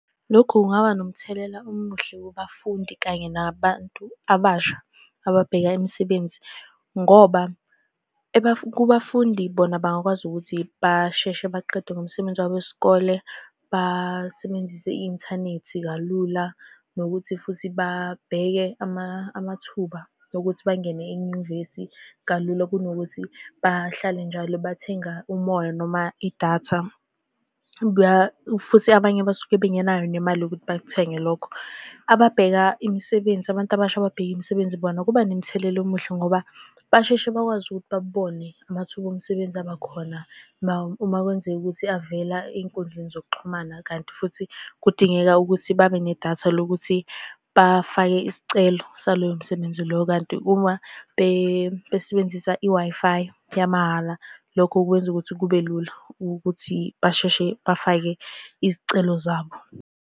Lokhu kungaba nomthelela omuhle kubafundi kanye nabantu abasha ababheka imisebenzi, ngoba kubafundi bona bangakwazi ukuthi basheshe baqede ngomsebenzi wabo wesikole, basebenzise i-inthanethi kalula, nokuthi futhi babheke amathuba okuthi bangene enyuvesi kalula. Kunokuthi bahlale njalo bathenga umoya noma idatha, futhi abanye basuke bengenayo nemali yokuthi bakuthenge lokho. Ababheka imisebenzi, abantu abasha ababheka imisebenzi bona kuba nemthelela omuhle ngoba basheshe bakwazi ukuthi babone amathuba omsebenzi aba khona uma kwenzeka ukuthi avela ey'nkundleni zokuxhumana. Kanti futhi kudingeka ukuthi babe nedatha lokuthi bafake isicelo saloyo msebenzi loyo, kanti uma besebenzisa i-Wi-Fi yamahhala, lokho kwenza ukuthi kube lula ukuthi basheshe bafake izicelo zabo.